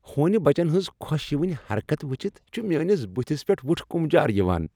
ہونہِ بچن ہنٛزٕ خۄش یونہِ حرکتہٕ ٗوچھتھ چھ میٲنس بٗتھس پیٹھ وُٹھکمجار یوان۔